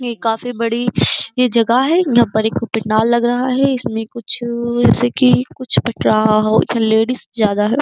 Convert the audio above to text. ये काफी बड़ी ये जगह है। जहां पर एक पंडाल लग रहा है। इसमें कुछ जैसे कि कुछ बंट रहा हो। लेडीज ज्यादा लो --